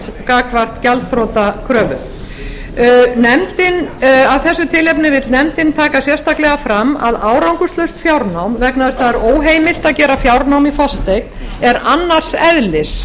gagnvart gjaldþrotakröfu af þessu tilefni vill nefndin taka sérstaklega fram að árangurslaust fjárnám vegna þess að óheimilt er að gera fjárnám í fasteign er annars eðlis